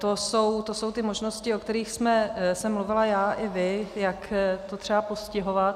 To jsou ty možnosti, o kterých jsem mluvila já i vy, jak to třeba postihovat.